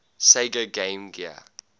sega game gear